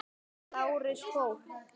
Lárus fór.